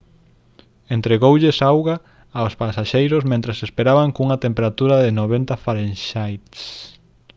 entregóuselles auga aos pasaxeiros mentres esperaban cunha temperatura de 90 °f